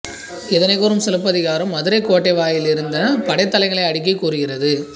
இதனைக் கூறும் சிலப்பதிகாரம் மதுரைக் கோட்டை வாயிலில் இருந்த படைத்தளங்களை அடுக்கிக் கூறுகிறது